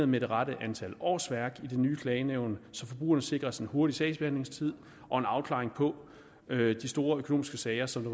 med det rette antal årsværk i det nye klagenævn så forbrugerne sikres en hurtig sagsbehandling og en afklaring af de store økonomiske sager som